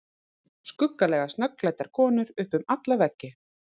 Skuggalega snöggklæddar konur upp um alla veggi.